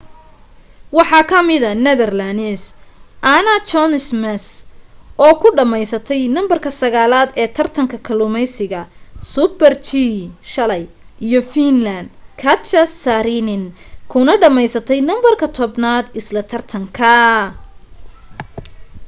waxaa ka mida netherlands anna jochemsen oo ku dhameysatay numberka sagaalad ee tartanka kaluumeysiga super-g shalay iyo finland katja saarinen kuna dhameysatay numberka tobanaad isla tartankaa